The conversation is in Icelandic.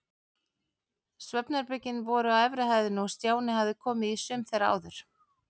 Svefnherbergin voru á efri hæðinni og Stjáni hafði komið í sum þeirra áður.